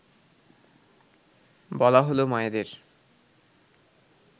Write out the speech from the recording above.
বলা হলো মায়েদের